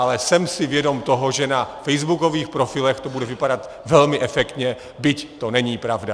Ale jsem si vědom toho, že na facebookových profilech to bude vypadat velmi efektně, byť to není pravda!